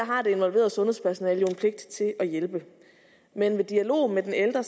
har det involverede sundhedspersonale jo en pligt til at hjælpe men i dialogen med den ældre